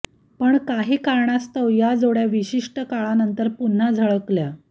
पण काही कारणास्तव या जोड्या विशिष्ट काळानंतर पुन्हा झळकल्या